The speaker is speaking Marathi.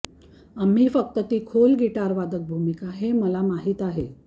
आम्ही फक्त ती खोल गिटार वादक भूमिका हे मला माहीत आहे